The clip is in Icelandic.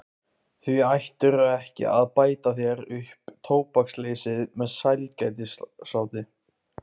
Því ættirðu ekki að bæta þér upp tóbaksleysið með sælgætisáti.